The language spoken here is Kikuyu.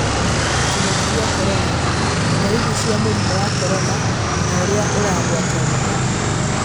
Kĩng'ũki gĩa korona: Dariri cĩa mũrimũ wa korona na ũrĩa ũragwatanio.